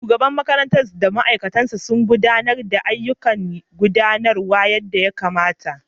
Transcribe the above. Shugaban makarantar da mataimakinsa sun gudanar da ayyukan gudanarwa yadda ya kamata.